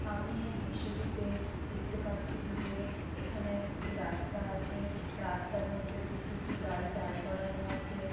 আমি এই দৃশ্যটি তে দেখতে পাচ্ছি কি যে এখানে একটি রাস্তা আছে রাস্তার মধ্যে গু দু টি গাড়ি দাঁড় করানো আছে।